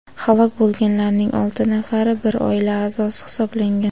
halok bo‘lganlarning olti nafari bir oila a’zosi hisoblangan.